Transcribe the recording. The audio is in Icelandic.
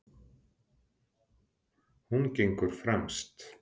Hún gengur fremst.